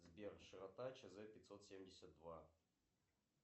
сбер широта чз пятьсот семьдесят два